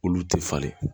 Olu tɛ falen